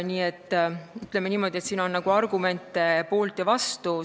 Nii et ütleme niimoodi, et siin on argumente poolt ja vastu.